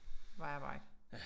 Vejarbejde